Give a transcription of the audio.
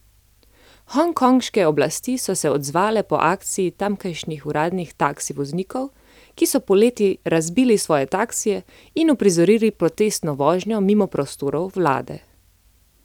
Hongkonške oblasti so se odzvale po akciji tamkajšnjih uradnih taksi voznikov, ki so poleti razbili svoje taksije in uprizorili protestno vožnjo mimo prostorov vlade.